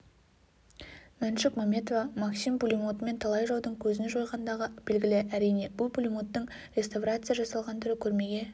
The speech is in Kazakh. мәншүк мәметова максим пулеметімен талай жаудың көзін жойғандығы белгілі әрине бұл пулеметтің реставрация жасалған түрі көрмеге